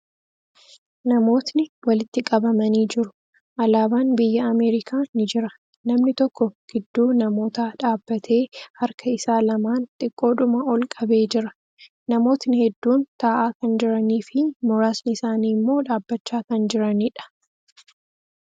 Namootni walitti qabamanii jiru. Alaabaan biyya Ameerikaa ni jira. Namni tokko gidduu namootaa dhaabbatee harka isaa lamaan xiqqoodhuma ol qabee jira. Namootni hedduun taa'aa kan jiranii fi muraasni isaanii immoo dhaabbachaa kan jiraniidha.